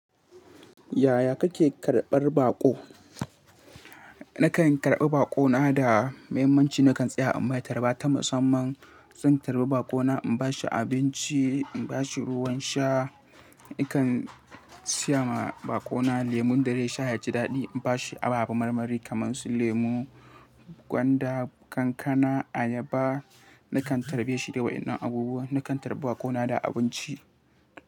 Yaya kake karɓar baƙo? Nakan karɓi baƙo na da mahimmanci. Nakan tsaya inmai tarba ta musamman. Zan tarbi baƙo na in bashi abinci, in bashi ruwan sha. Nakan siya ma baƙo na lemon da zai sha ya jidaɗi. In bashi ababen marmari kamar su lemu, gwanda, kankana, ayaba. Nakan tarbe shi da waɗannan abubuwan. Nakan tarbe baƙo na da abinci.